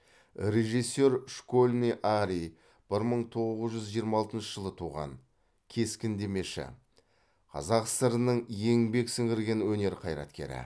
режиссер школьный арий бір мың тоғыз жүз жиырма алтыншы жылы туған кескіндемеші қазақ сср інің еңбек сіңірген өнер қайраткері